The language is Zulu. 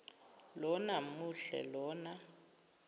lona muhle lona